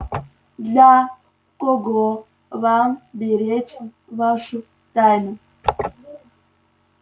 для кого вам беречь вашу тайну